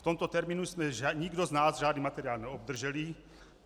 V tomto termínu jsme nikdo z nás žádný materiál neobdrželi.